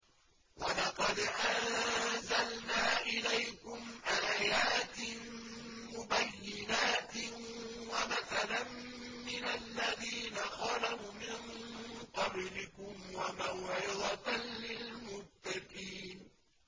وَلَقَدْ أَنزَلْنَا إِلَيْكُمْ آيَاتٍ مُّبَيِّنَاتٍ وَمَثَلًا مِّنَ الَّذِينَ خَلَوْا مِن قَبْلِكُمْ وَمَوْعِظَةً لِّلْمُتَّقِينَ